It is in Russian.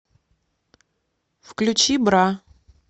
включи бра